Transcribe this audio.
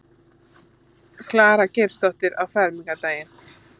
Klara Geirsdóttir á fermingardaginn.